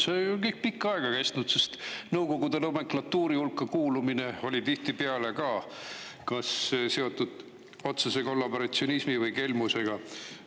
See on ju kõik pikka aega kestnud, sest Nõukogude nomenklatuuri hulka kuulumine oli tihtipeale ka kas seotud otsese kollaboratsionismi või kelmusega.